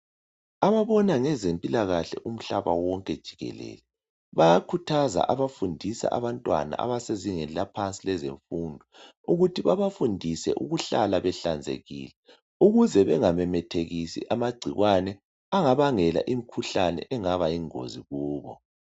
Ababona ngezempilakahle umhlaba wonke jikelele bayakhuthaza abafundisa abantwana abasezingeni eliphansi lezemfundo ukuthi babafundise ukuhlanzeka lokuhlala behlanzekile ukuze bengamemethekisi amagcikwane angabangela imikhuhlane engaba yingozi Kubo